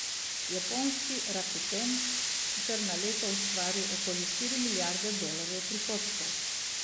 Japonski Rakuten sicer na leto ustvari okoli štiri milijarde dolarjev prihodkov.